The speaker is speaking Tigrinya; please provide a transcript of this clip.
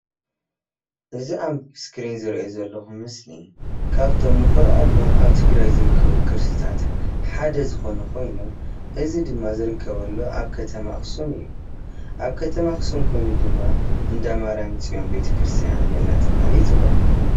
እዚ ኣብ እስክሪን ዝሪኦ ዘለኩ ምስሊ ካብቶም እንኮርዖሎም ኣብ ትግራይ ዝርከቡ ቅርስታት ሓደ ዝኮነ ኮይኑ እዚ ድማ ዝርከበሉ ኣብ ከተማ ኣክሱም እዩ፣ ኣብ ከተማ ኣክሱም ኮይኑ ድማ እንዳማርያም ፅዮን ቤተ ክርስትያን እንዳተባሃለ ይፅዋዕ፡፡